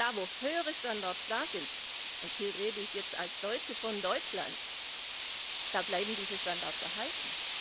Da, wo es höhere Standards gibt und hier rede ich jetzt als Deutsche von Deutschland da bleiben diese Standards erhalten.